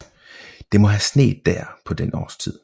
Det må have sneet dér på den årstid